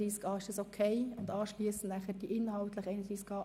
Ist dieses Vorgehen in Ordnung für Sie?